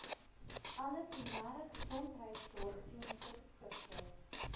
alle primêregesondheidsorgklinieke beskikbaar